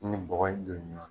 I ni bɔgɔ in don ɲɔ na.